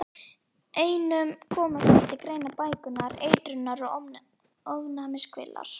Einkum koma hér til greina bæklunar-, eitrunar- og ofnæmiskvillar.